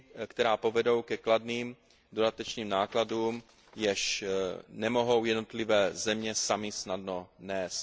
která povedou ke kladným dodatečným nákladům, jež nemohou jednotlivé země samy snadno nést.